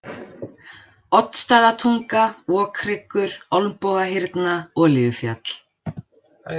Oddsstaðatunga, Okhryggur, Olnbogahyrna, Olíufjall